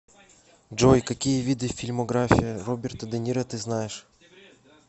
джой какие виды фильмография роберта де ниро ты знаешь